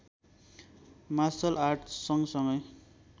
marshal art सँगसँगै